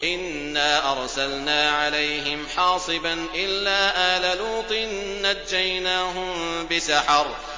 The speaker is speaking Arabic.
إِنَّا أَرْسَلْنَا عَلَيْهِمْ حَاصِبًا إِلَّا آلَ لُوطٍ ۖ نَّجَّيْنَاهُم بِسَحَرٍ